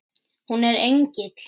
Hún er engill.